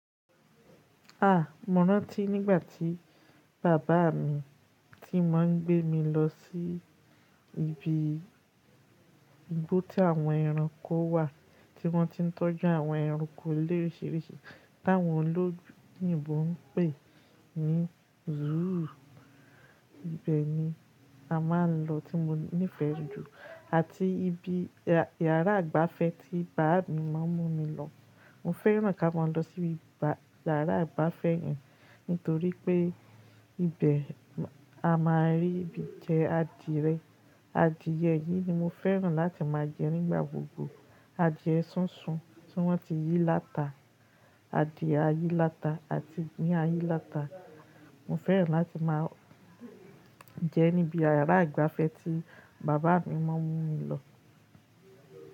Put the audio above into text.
A! Mọ́ rántí nígbà tí bàbá mi tí máa ń gbé mi lọ sí ibi igbó tí àwọn ẹranko wà, tí wọ́n ti ń tọ́jú àwọn ẹranko lóriṣiríṣi, t'áwọn oyìnbò ń pè ní zúù. Ibẹ̀ ni a máa ń lọ tí mo nífẹ̀ẹ́ jù àti ibi yàrá ìgbafẹ́ tí bàbá mi máa ń mú mi lọ. Mo fẹ́ràn kí a máa lọ síbi yàrá ìgbafẹ́ nítorí pé ibẹ̀ a máa rí ibi jẹ adìyẹ. Adìẹ yìí ni mo fẹ́ràn láti máa jẹ nígbà gbogbo. Adìẹ sísun tí wọ́n ti yí láta, adìẹ ayíláta àti ní ayíláta. Mo fẹ́ràn láti máa jẹ níbi yàrá ìgbafẹ́ tí bàbá mi máa ń mú mi lọ.